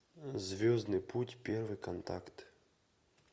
звездный путь первый контакт